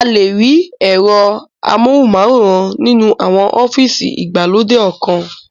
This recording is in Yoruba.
A le rí ẹ̀rọ amóhùnmáwòrán nínú àwọn ọ́fìsì ìgbàlódé ọkan